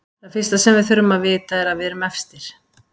Það fyrsta sem við þurfum að vita er að við erum efstir.